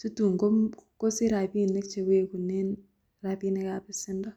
situn komu kosir rabinik chewegunen rabinikab besendo.